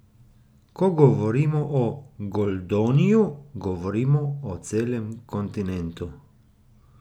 Ko govorimo o Goldoniju, govorimo o celem kontinentu.